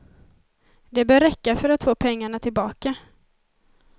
Det bör räcka för att få pengarna tillbaka.